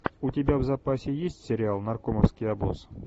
у тебя в запасе есть сериал наркомовский обоз